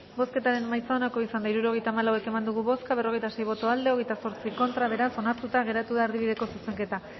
bozketaren emaitza onako izan da hirurogeita hamalau eman dugu bozka berrogeita sei boto aldekoa veintiocho contra beraz onartuta geratu da erdibideko zuzenketa